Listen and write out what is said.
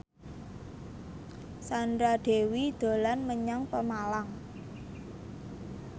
Sandra Dewi dolan menyang Pemalang